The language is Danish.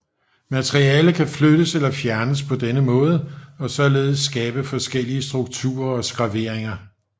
Materiale kan flyttes eller fjernes på denne måde og således skabe forskellige strukturer og skraveringer